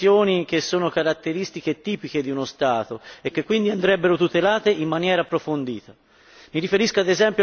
Ci sono infatti professioni che sono caratteristiche tipiche di uno Stato e che quindi andrebbero tutelate in maniera approfondita.